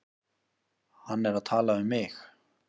Hann er að tala um mig.